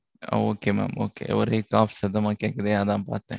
okay mam okay ஒரே சத்தமா கேட்குது, அதான் பார்த்தேன்